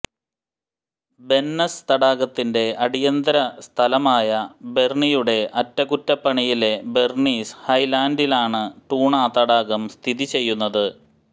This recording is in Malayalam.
ബെൻനസ് തടാകത്തിന്റെ അടിയന്തര സ്ഥലമായ ബെർണിയുടെ അറ്റകുറ്റപ്പണിയിലെ ബെർണീസ് ഹൈലാന്റിലാണ് ടൂണ തടാകം സ്ഥിതിചെയ്യുന്നത്